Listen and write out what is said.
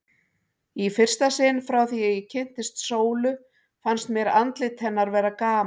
Í fyrsta sinn frá því ég kynntist Sólu fannst mér andlit hennar vera gamalt.